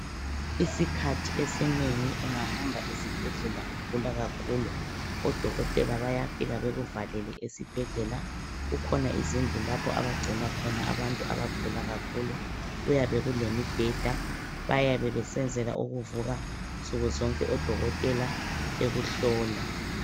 Isikhathi esinengi ungahamba esibhedlela ugula kakhulu, odokotela bayafika bekuvalele esibhedlela. Kukhona izindlu lapho abagcina khona abantu abagula kakhulu. Kuyabe kulemibheda, bayabe besenzela ukuvuka nsukuzonke odokotela bekuhlola.